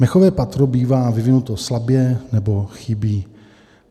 Mechové patro bývá vyvinuto slabě nebo chybí.